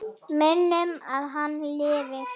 Munum að hann lifir.